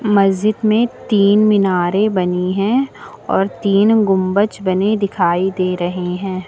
मस्जिद में तीन मीनारें बनी हैं और तीन गुंबच बने दिखाई दे रहे हैं।